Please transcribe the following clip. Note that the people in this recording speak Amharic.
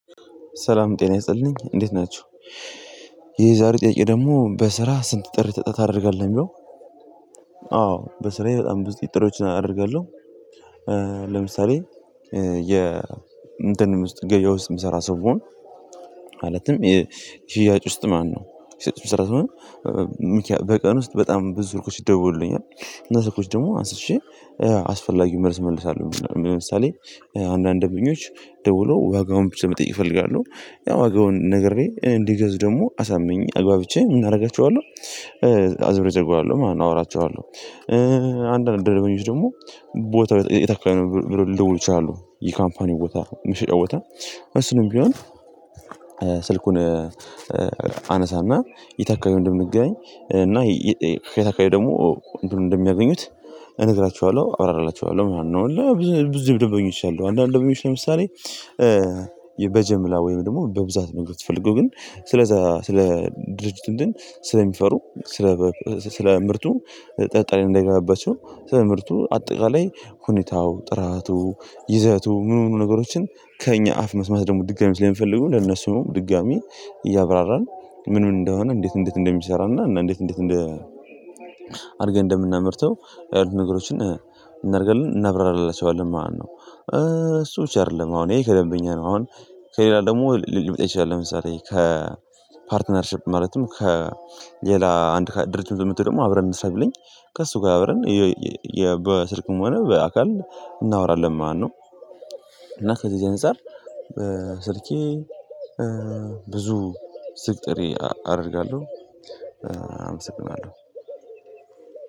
ሰላም ጤና ይነስጥልኝ እንዴት ናቸው? የዛሬው ጥያቄ ደግሞ በስራ ስንት ጥሪ ተጠሮተህ ታደርጋለህ የሚለው? አዎ በስራዬ በጣም ብዙ ጥሪዎችን አደርጋለሁ። ለምሳሌ የ እንትን ውስጥ ገበያ ውስጥ የምሰራ ሰው ብሆን። ማለትም የሽያጭ ውስጥ ማነው ሽያጭ ሺህ ስምንት መቶ ስምንት። በቀን ውስጥ በጣም ብዙ ርኮሽ ይደወሉልኛል። እነዚህ ርኮሽ ደግሞ አንስቼ አስፈላጊው መልስ እመልሳለሁ። ለምሳሌ አንዳንድ ደንበኞች ደውሎ ዋጋውን ብቻ መጠየቅ እፈልጋለሁ ያው ዎጋውን ነግሬ እንዲገዙ ደግሞ አሳምኝ አግባብቼ እናደርጋቸዋለሁ። አዝብር እዘጋዋለሁ ማን አወራቸዋለሁ። አንድ አንድ ደግሞ ደግሞ ቦታው የት አካባቢ ነው ብለው ልደውል ይችላሉ? ይህ ካምፓኒው ቦታ መሸጫ ቦታ እሱንም ቢሆን። ስልኩን አነሳና የት አካባቢይ እንደምንገኝ እና ከየት ደግሞ እንደሚያገኙት እንግራችኋለሁ አብራራላችኋለሁ ምናምን ነው። ብዙ ደምበኞች አሉ አንዳንድ ደሞኞች ለምሳሌ በጀምላ ወይም ደግሞ በብዛት መንገድ የተፈለገው ግን ስለዛ ስለ ድርጅት ስለሚፈሩ። ስለ ምርቱ ጠጠለኝ እንደገናበት ስለ ምርቱ አጠቃላይ ሁኔታው ጥራቱ ይዘቱ ምኑኑ ነገሮችን ከእኛ አፍ መስማት ደግሞ ድጋሚ ስለሚፈልጉ ለነሱ ድጋሚ እያብራራን ምን ምን እንደሆነ እንዴት እንዴት እንደሚሰራና እንዴት እንዴት እንደ አድርገን እንደምናመርተው። ነገሮችን እናደርጋለን እናብራለን። ሰው አለን ማነው እሱ እችላለሁ አሁን ይሄ ከደንበኛ ነው አሁን ከሌላ ደግሞ ሌመጣ ይችላል። ለምሳሌ ከፓርትነርሺፕ ማለትም ከሌላ አንድ ድርጅት የምትለው ደግሞ አብረን እንሰራ ብለኝ ከእሱ ጋር አብረን በስልክም ሆነ በአካል እናወራለን። ማነው እና ከዚህ አንፃር ስልኬ ብዙ ስልክ አደርጋለሁ። አመሰግናለሁ።